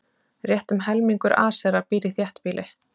Rétt um helmingur Asera býr í þéttbýli.